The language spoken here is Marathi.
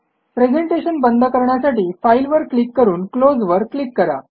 प्रेझेंटेशन बंद करण्यासाठी फाइल वर क्लिक करून क्लोज वर क्लिक करा